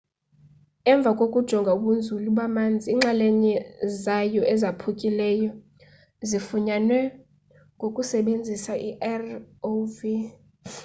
emva kokujonga ubunzulu bamanzi iinxalenye zayo ezaphukileyo zifunyanwe ngokusebenzisa irov